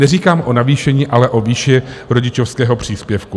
Neříkám o navýšení, ale o výši rodičovského příspěvku.